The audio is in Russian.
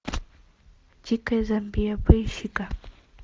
дикая замбия поищи ка